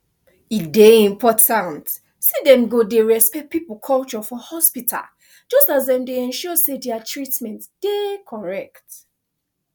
e dey important say dem go dey respect people culture for hospital just as dem dey ensure say dia treatment dey correct